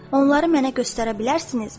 Onları mənə göstərə bilərsinizmi?